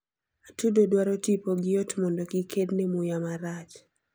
atudo dwaro tipo gi ot mondo kikedne muya marach